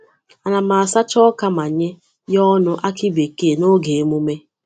Ana m asacha oka ma nye ya ọnụ akị bekee n’oge emume.